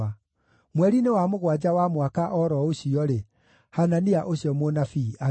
Mweri-inĩ wa mũgwanja wa mwaka o ro ũcio-rĩ, Hanania ũcio mũnabii agĩkua.